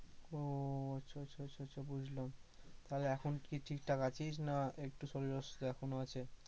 ওহ আচ্ছা আচ্ছা আচ্ছা আচ্ছা বুঝলাম, তাহলে এখন কি ঠিক ঠাক আছিস না একটু শরীর অসুস্থ এখনও আছে।